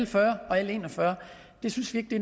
fyrre og l en og fyrre det synes vi ikke